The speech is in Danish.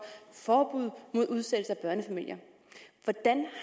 forbud mod udsættelse af børnefamilier hvordan